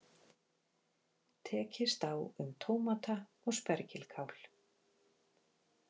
Tekist á um tómata og spergilkál